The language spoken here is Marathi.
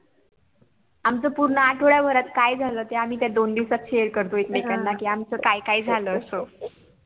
आमच पूर्ण आठवड्याभरात काय झाल ते आम्ही त्या दोन दिवसात SHARE करतो एकमेकांना कि आमच काय काय झाल असं